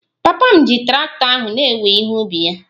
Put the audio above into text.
Papa m ji traktọ ahụ na-ewe ihe ubi ya